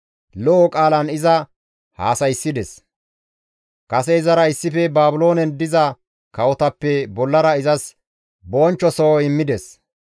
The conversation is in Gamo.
Lo7o qaalan iza haasayssides; kase izara issife Baabiloonen diza kawotappe bollara izas bonchcho soho immides.